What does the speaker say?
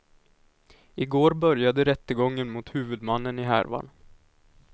I går började rättegången mot huvudmannen i härvan.